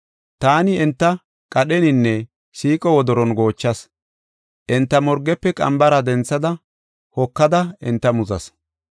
Taani enta qadheninne siiqo wodoron goochas; enta morgefe qambara denthada hokada enta muzas.